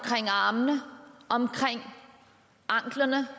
armene om anklerne